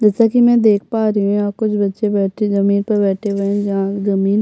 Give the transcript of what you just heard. जैसा की में देख पा रही हूँ यहाँ कुछ बच्चे बैठे जमींन पर बैठे हुए है जहाँ जमीन --